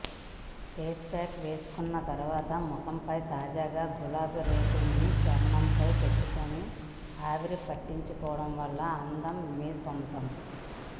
face pack వేసుకున్న తర్వాత ముఖంపై తాజా గులాబీరేకులని చర్మంపై పెట్టుకుని ఆవిరిపట్టుకోవడం వల్ల అందం మీ సొంతం